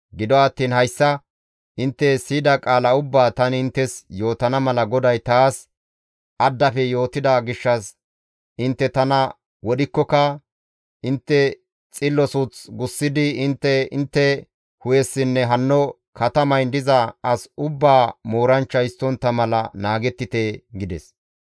Gido attiin hayssa intte siyida qaala ubbaa tani inttes yootana mala GODAY taas addafe yootida gishshas intte tana wodhikkoka intte xillo suuth gussidi intte intte hu7essinne hanno katamayn diza as ubbaa mooranchcha histtontta mala naagettite» gides.